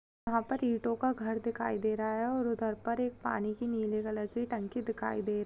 यहाँ पर इटों घर दिखाईं दे रहा है और उधर पर पानी की नीले कलर की टंकी दिखाई दे--